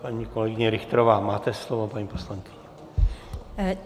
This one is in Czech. Paní kolegyně Richterová, máte slovo, paní poslankyně.